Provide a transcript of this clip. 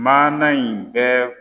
Maana in bɛ